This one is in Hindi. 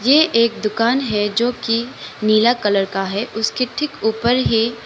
यह एक दुकान है जो कि नीला कलर का है उसके ठीक ऊपर ही--